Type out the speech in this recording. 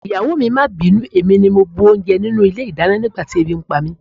Ìyàwó mi, má bínú, èmi ni mo bu oúnjẹ nínú ilé-ìdáná nígbà tí ebi ń pa mí.